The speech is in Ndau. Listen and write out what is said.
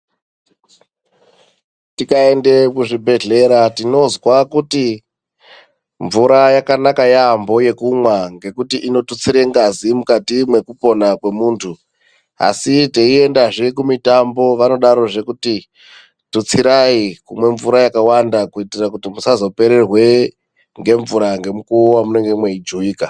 Tikaenda kuzvibhedhlera tinzwa kuti mvura yakanaka yaambo yekumwa ngekuti inotutsire ngazi mukati mwekupona kwemuntu asi teindazve kumitambo vanodarozve kuti tutsirai kumwa mvura yakawanda kuitira kuti musazopererwe nemvura nemukuwo wamunenge meijuwika.